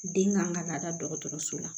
Den kan ka laada dɔgɔtɔrɔso la